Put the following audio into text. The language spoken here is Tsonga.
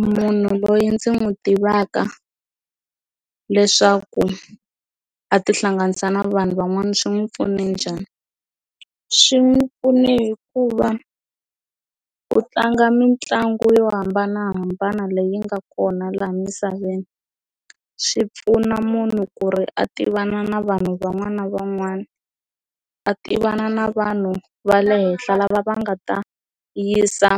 Munhu loyi ndzi n'wi tivaka leswaku a ti hlanganisa na vanhu van'wana swi n'wi pfune njhani swi n'wi pfune hikuva ku tlanga mitlangu yo hambanahambana leyi nga kona laha misaveni swi pfuna munhu ku ri a tivana na vanhu van'wana na van'wana a tivana na vanhu va le henhla lava va nga ta yisa